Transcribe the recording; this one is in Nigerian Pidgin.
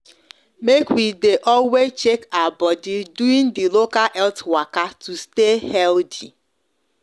make we de always check our body during the local health waka to stay healthy